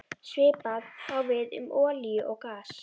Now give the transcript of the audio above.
Svipað á við um olíu og gas.